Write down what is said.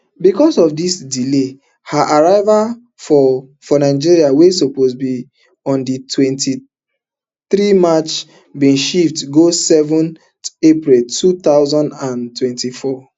becos of di delay her arrival for for nigeria wey suppose be on di twenty-three march bin shift go seven april two thousand and twenty-four